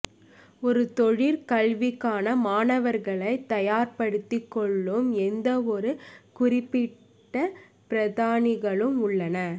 ஒரு தொழிற்கல்விக்கான மாணவர்களை தயார்படுத்திக் கொள்ளும் எந்தவொரு குறிப்பிட்ட பிரதானிகளும் உள்ளன